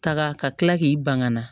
Taga ka kila k'i ban ka na